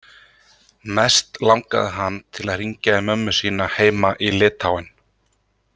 Mest langaði hann til að hringja í mömmu sína heima í Litáen.